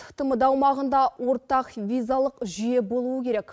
тмд аумағында ортақ визалық жүйе болуы керек